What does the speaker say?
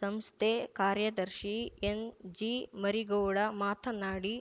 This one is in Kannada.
ಸಂಸ್ಥೆ ಕಾರ್ಯದರ್ಶಿ ಎನ್‌ಜಿ ಮರಿಗೌಡ ಮಾತನಾಡಿ